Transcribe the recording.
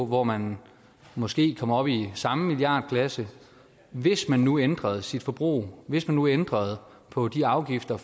hvor man måske kommer op i samme milliardklasse hvis man nu ændrede sit forbrug hvis man nu ændrede på de afgifter